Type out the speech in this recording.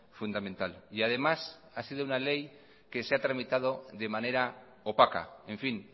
fundamental y además ha sido una ley que se ha tramitado de manera opaca en fin